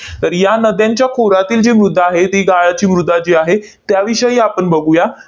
तर या नद्यांच्या खोऱ्यातील जी मृदा आहे, ती गाळाची मृदा जी आहे, त्याविषयी आपण बघूया.